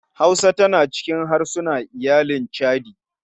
Hausa tana cikin harsuna iyalin chadi.